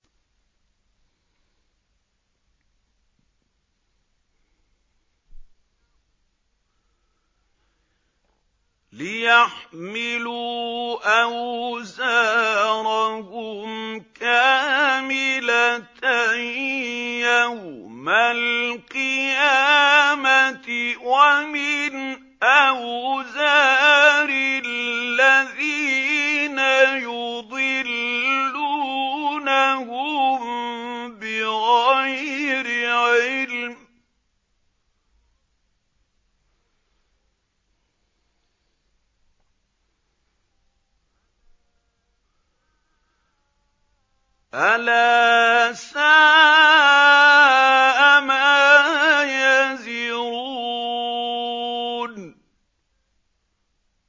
لِيَحْمِلُوا أَوْزَارَهُمْ كَامِلَةً يَوْمَ الْقِيَامَةِ ۙ وَمِنْ أَوْزَارِ الَّذِينَ يُضِلُّونَهُم بِغَيْرِ عِلْمٍ ۗ أَلَا سَاءَ مَا يَزِرُونَ